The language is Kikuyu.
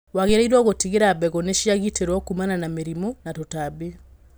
Wagĩrĩirwo gũtigĩrĩra mbegũ nĩ cia gitĩrwo kumana na mĩrimũ na tũtambi.